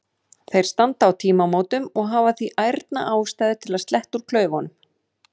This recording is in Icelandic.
Þeir standa á tímamótum og hafa því ærna ástæðu til að sletta úr klaufunum.